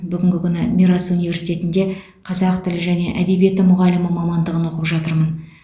бүгінгі күні мирас университетінде қазақ тілі және әдебиеті мұғалімі мамандығын оқып жатырмын